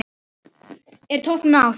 Er toppnum náð?